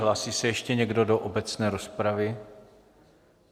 Hlásí se ještě někdo do obecné rozpravy?